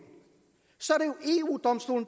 så